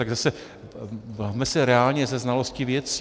Tak zase bavme se reálně se znalostí věcí.